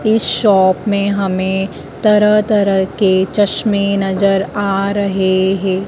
इस शॉप मैं हमे तरह तरह के चश्मे नजर आ रहे हैं।